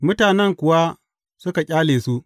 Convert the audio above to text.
Mutanen kuwa suka ƙyale su.